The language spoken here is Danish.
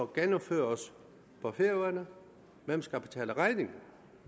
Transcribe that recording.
gennemføres på færøerne hvem skal betale regningen